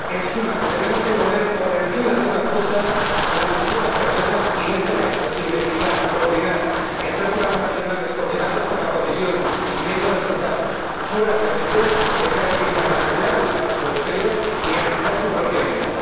En suma, que tenemos que poner por encima de otras cosas la salud de las personas y, en este caso, investigar, coordinar y elaborar programas nacionales coordinados por la Comisión para obtener resultados sobre la diabetes, y así garantizar la calidad de vida de los europeos y su propia vida.